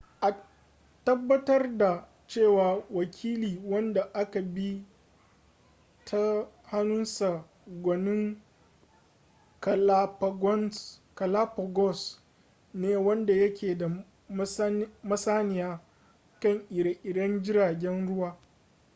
a tabbatar da cewa wakili wanda aka bi ta hannunsa gwanin galapagos ne wanda yake da masaniya kan ire-iren jiragen ruwa